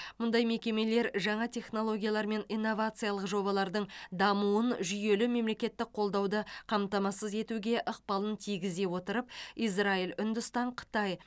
мұндай мекемелер жаңа технологиялар мен инновациялық жобалардың дамуын жүйелі мемлекеттік қолдауды қамтамасыз етуге ықпалын тигізе отырып израиль үндістан қытай